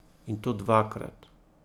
In to dvakrat.